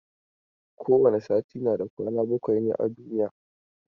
Kowane sati na da kwana bakwai ne a duniya.